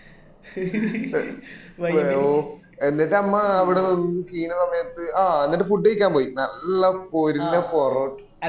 എന്നിട്ടു നമ്മള് അവിടെ നിന്ന് കീഞ്ഞ സമയത് ആ എന്നട്ട് food കഴിക്കാൻ പോയി നല്ല പൊരിഞ്ഞ പൊറോട്ട